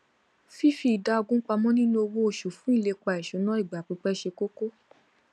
fífi idà ogún pamọ nínú owó oṣù fún ilépa ìṣúná ìgbàpípẹ ṣe kókó